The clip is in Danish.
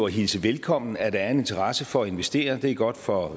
hilse velkommen at der er en interesse for at investere det er godt for